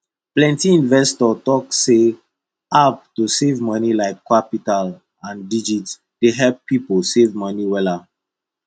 plenty investor talk say app to save moni like qapital and digit dey help pipo save moni wella